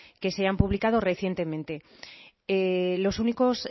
hayan publicado recientemente los únicos